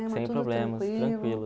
sem problemas, tranquilo.